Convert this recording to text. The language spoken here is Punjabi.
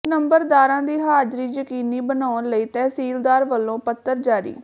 ਨੰਬਰਦਾਰਾਂ ਦੀ ਹਾਜ਼ਰੀ ਯਕੀਨੀ ਬਣਾਉਣ ਲਈ ਤਹਿਸੀਲਦਾਰ ਵੱਲੋਂ ਪੱਤਰ ਜਾਰੀ